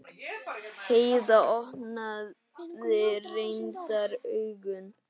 Heiða opnaði reyndar augun.